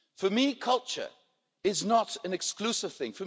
For me, culture is not an exclusive thing.